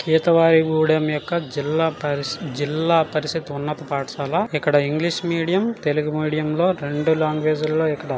కేతువాయిగూడెం యొక్క జిల్లా పరిస-జిల్లా పరిషత్ ఉన్నత పాఠశాల ఇక్కడ ఇంగ్లీష్ మీడియం తెలుగు మీడియం లో రెండు లాంగ్వేజ్ లో ఇక్కడ--